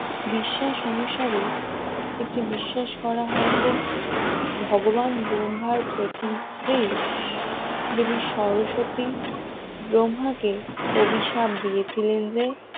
বিশ্বাস অনুসারে এটি বিশ্বাস করা হয় যে ভগবান ব্রহ্মার প্রথম স্ত্রী দেবী সরস্বতী ব্রহ্মাকে অভিশাপ দিয়েছিলেন যে